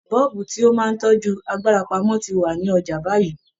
Bọ́ọ̀bù tó máa ń tọ́jú agbára pamọ́ ti wà ní ọjà báyìí